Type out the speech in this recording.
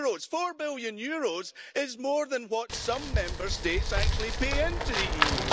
EUR 4 billion is more than what some Member States actually pay into the EU.